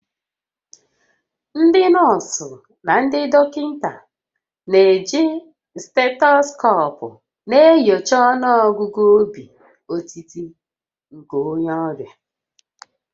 Ndị nọọsụ na ndị dọkịta na-eji stetoskoopu na-enyocha ọnụọgụ obi otiti nke onye ọrịa